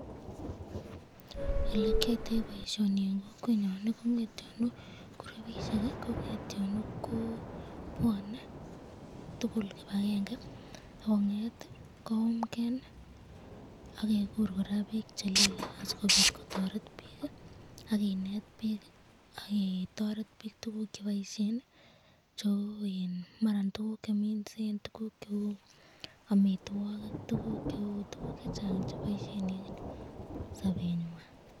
Elekiyoito boishoni en kokwenyon kong'etyonu kurubishek kong'etyonu ko bwonee tukul kibakenge ak kongeet koyumkee akekur kora biik chelile asikobit kotoret biik ak kinet biik ak ketoret biik tukuk cheboishen cheuu maran tukuk cheminsen, tukuk cheuu amitwokik, tukuk cheuu akot tukuk chechang chekiboishen en sobenywan.